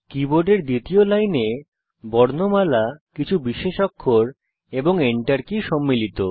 কীবোর্ডের দ্বিতীয় লাইনে বর্ণমালা কিছু বিশেষ অক্ষর এবং Enter কী সম্মিলিত